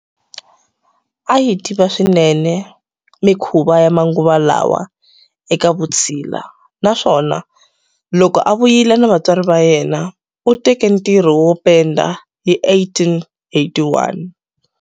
A yi tiva swinene mikhuva ya manguva lawa eka vutshila naswona, loko a vuyile na vatswari va yena, u teke ntirho wo penda hi 1881.